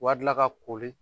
Wa dila k'a koli